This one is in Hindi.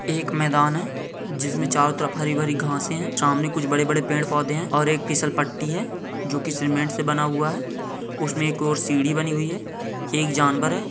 एक मैदान हैजिसमें चारों तरफ हरी हरी घास हैं सामने कुछ बड़े बड़े पेड़ पौधे हैं और एक फिसल पट्टी हैजो की सीमेंट से बना हुआ है उसमें एक और सीडी बनी हुई है एक जानवर है ।